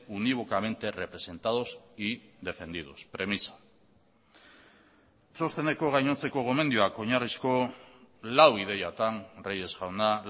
unívocamente representados y defendidos premisa txosteneko gainontzeko gomendioak oinarrizko lau ideiatan reyes jauna